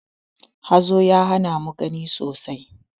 Hazo ya hana mu gani sosai.